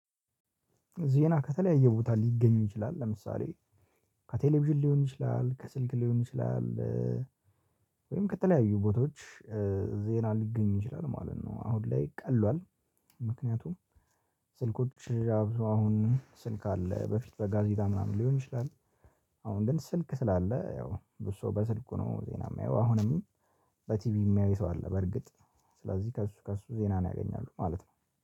ዜና ከተለያየ ቦታ ሊገኙ ይችላል ለምሳሌ ከቴሌቪዥን ሊሆን ይችላ፤ ከስልክ ሊሆን ይችላል፤ ወይም ከተለያዩ ቦታዎች ዜና ሊገኝ ይችላል ማለት ነው። አሁን ላይ ቀሏል ምክንያቱም ስልኮች አብዛው አሁን ስልክ አለ በፊት በጋዜጣ ምናምን ሊሆን ይችላል። አሁን ግን ስልክ ስላለ ያው ብዙ ሰው በስልኩ ነው ዜና የሚያየው አሁንም። በቲቪ የሚያየው ሰው አለ በርግጥ ስለዚህ ከእሱ ከእሱ ዜና ነው ያገኛሉ ማለት ነው፤